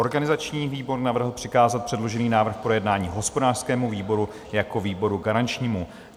Organizační výbor navrhl přikázat předložený návrh k projednání hospodářskému výboru jako výboru garančnímu.